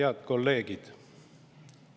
Head kolleegid!